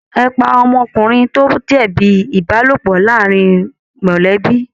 Ẹ̀ pá ọmọkùnrin tí o ba jẹbi ìbálòpọ̀ láàrín mọlẹbi!